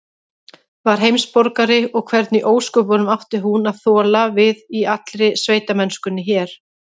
Var heimsborgari, og hvernig í ósköpunum átti hún að þola við í allri sveitamennskunni hér?